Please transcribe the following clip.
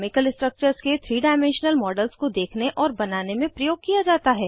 chemical structures के 3 dimensional models को देखने और बनाने में प्रयोग किया जाता है